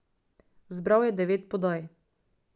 Zbral je devet podaj.